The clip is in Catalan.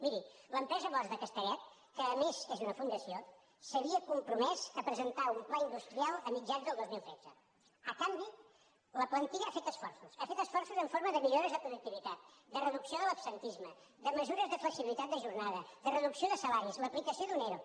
miri l’empresa bosch de castellet que a més és una fundació s’havia compromès a presentar un pla industrial a mitjans del dos mil tretze a canvi la plantilla ha fet esforços ha fet esforços en forma de millores de productivitat de reducció de l’absentisme de mesures de flexibilitat de jornada de reducció de salaris l’aplicació d’un ero